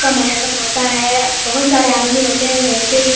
मुहर्रम होता है बहुत सारे आदमी होते है वैसे ही --